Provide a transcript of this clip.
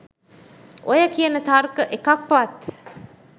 ඔය කියන තර්ක එකක්වත්